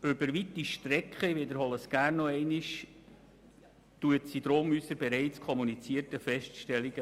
Über weite Strecken bestätigt sie unsere bereits kommunizierten Feststellungen.